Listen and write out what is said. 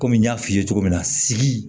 Kɔmi n y'a f'i ye cogo min na sigi